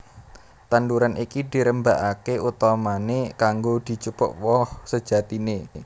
Tanduran iki dirembakaké utamané kanggo dijupuk woh sejatiné